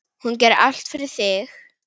Hún gerði allt fyrir þig.